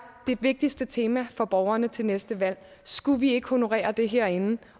det vigtigste tema for borgerne til næste valg så skulle vi ikke honorere det herinde